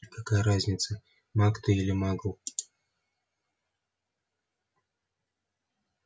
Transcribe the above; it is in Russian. какая разница маг ты или магл